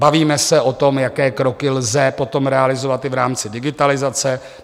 Bavíme se o tom, jaké kroky lze potom realizovat i v rámci digitalizace.